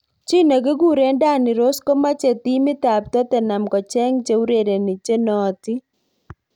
Chi nekikure Danny Rose komeche timit ab Tottenham kocheng cheurereni chenootin.